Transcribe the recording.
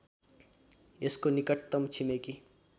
यसको निकटतम छिमेकि